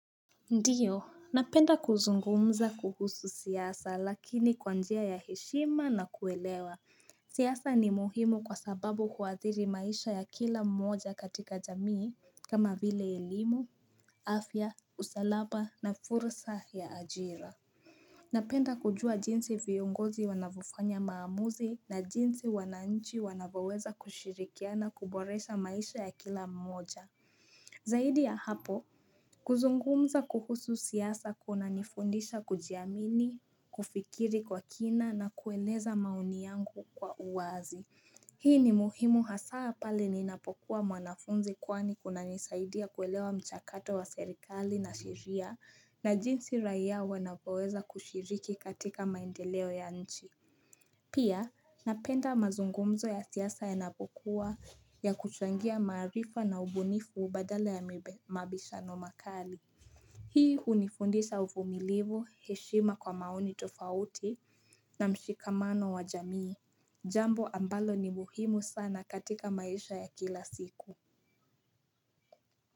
Ndiyo, napenda kuzungumza kuhusu siasa lakini kwa njia ya heshima na kuelewa, siasa ni muhimu kwa sababu huadhiri maisha ya kila mmoja katika jamii kama vile elimu, afya, usalama na fursa ya ajira Napenda kujua jinsi viongozi wanavufanya maamuzi na jinsi wananchi wanavoweza kushirikiana kuboresha maisha ya kila mmoja Zaidi ya hapo kuzungumza kuhusu siasa kuna nifundisha kujiamini, kufikiri kwa kina na kueleza maoni yangu kwa uwazi. Hii ni muhimu hasaa pale ninapokuwa mwanafunzi kwani kuna nisaidia kuelewa mchakato wa serikali na sheria na jinsi raia wanavyoweza kushiriki katika maendeleo ya nchi. Pia napenda mazungumzo ya siasa ya napokuwa ya kuchangia maarifa na ubunifu badala ya mabishano makali Hii hunifundisa uvumilivu heshima kwa maoni tofauti na mshikamano wa jamii Jambo ambalo ni muhimu sana katika maisha ya kila siku Kwa hivyo.